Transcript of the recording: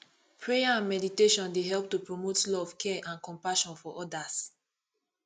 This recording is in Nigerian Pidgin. prayer and meditation dey help to promote love care and compassion for odas